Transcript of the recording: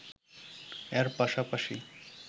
এর পাশাপাশি